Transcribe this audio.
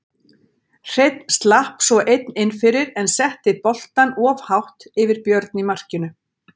Hreinn slapp svo einn inn fyrir en setti boltann of hátt yfir Björn í markinu.